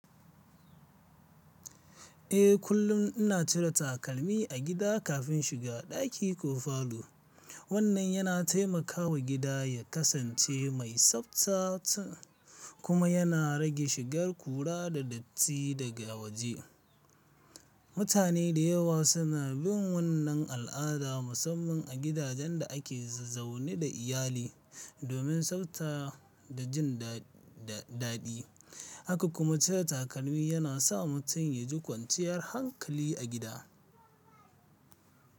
Eh, kullum ina cire takalmi a gida kafin shiga ɗaki ko falo. Wannan yana taimakawa gida ya kasance mai tsafta kuma yana rage shigar ƙura da datti daga waje. Mutane da yawa suna bin wannan al'ada, musamman a gidajen da ake zaune da iyali, domin tsafta da jin daɗi. Haka kuma cire takalmi yana sa mutum ya ji kwanciyar hankali a gida.